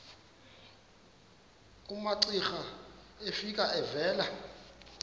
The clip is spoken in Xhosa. umamcira efika evela